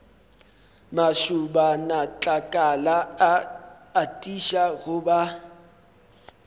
mašobanatlakala a atiša go ba